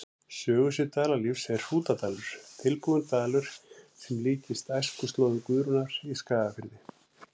Sögusvið Dalalífs er Hrútadalur, tilbúinn dalur sem líkist æskuslóðum Guðrúnar í Skagafirði.